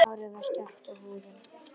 Hárið er stökkt og húðin.